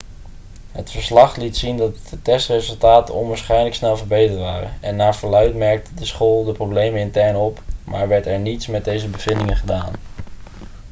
het verslag liet zien dat de testresultaten onwaarschijnlijk snel verbeterd waren en naar verluidt merkte de school de problemen intern op maar werd er niets met deze bevindingen gedaan